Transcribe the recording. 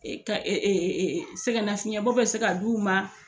e ka sɛgɛnnafiɲɛbɔ bɔ bɛ se k ka d'u ma.